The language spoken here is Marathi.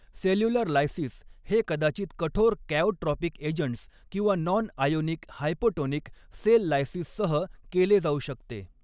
सेल्युलर लायसिस हे कदाचित कठोर कॅओट्रॉपिक एजंट्स किंवा नॉनआयोनिक हायपोटोनिक सेल लायसिससह केले जाऊ शकते.